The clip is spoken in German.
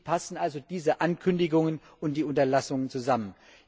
Wie passen also diese Ankündigungen und die Unterlassungen zusammen?